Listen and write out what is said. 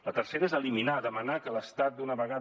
la tercera és eliminar demanar que l’estat d’una vegada